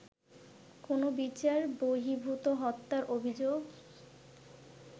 কোনো বিচার বর্হিভূত হত্যার অভিযোগ